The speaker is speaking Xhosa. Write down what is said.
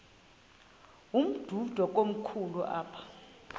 umdudo komkhulu apha